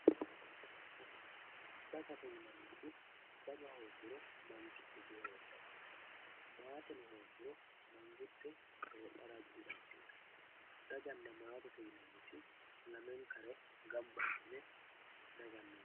Daganna matte dagate yinaniti daga hoguro mangite di hedhano matteno hoguro mangite hedhara didanditano daganna mattete yinaniti lamenkare ganba asine daganna mattete yinanni